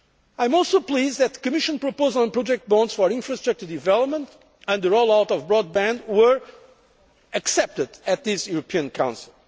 I am also pleased that Commission proposals on project bonds for infrastructure development and the roll out of broadband were accepted at this European